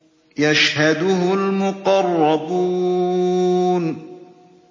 يَشْهَدُهُ الْمُقَرَّبُونَ